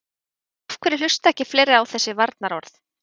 En af hverju hlusta ekki fleiri á þessari varnarorð?